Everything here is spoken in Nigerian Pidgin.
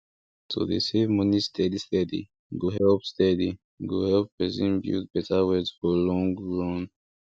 to dey save money steady steady go help steady go help person build better wealth for long run